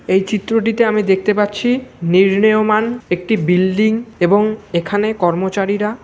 এই চিত্রটিতে আমি দেখতে পাচ্ছি নির্নেয়মান একটি বিল্ডিং এবং এখানে কর্মচারীরা--